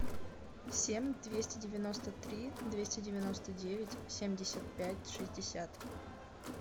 семь двести девяносто три двести девяносто девять семьдесят пять шестьдесят